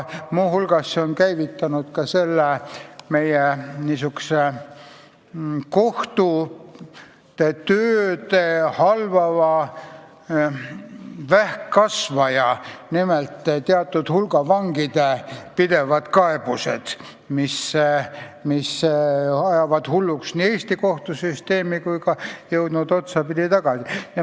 Muu hulgas on see tekitanud meie kohtute tööd halvava vähkkasvaja ehk suure hulga vangide pidevad kaebused, mis ajavad Eesti kohtusüsteemi hulluks.